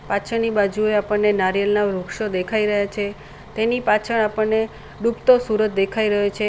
પાછળની બાજુએ આપણને નારિયેલના વૃક્ષો દેખાઈ રહ્યા છે તેની પાછળ આપણને ડૂબતો સૂરજ દેખાઈ રહ્યો છે.